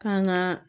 Kan ŋaa